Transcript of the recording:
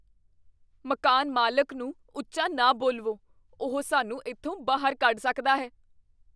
ਮਕਾਨ ਮਾਲਕ ਨੂੰ ਉੱਚਾ ਨਾ ਬੋਲਵੋ। ਉਹ ਸਾਨੂੰ ਇੱਥੋਂ ਬਾਹਰ ਕੱਢ ਸਕਦਾ ਹੈ।